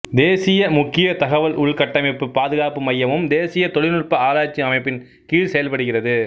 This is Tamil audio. தேசிய முக்கிய தகவல் உள்கட்டமைப்பு பாதுகாப்பு மையமும் தேசிய தொழில்நுட்ப ஆராய்ச்சி அமைப்பின் கீழ் செயல்படுகிறது